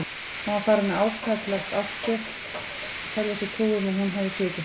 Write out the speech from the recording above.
Hann var farinn að áfellast Ástu, telja sér trú um að hún hefði svikið sig.